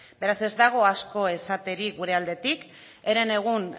beraz ez dago asko esaterik gure aldetik herenegun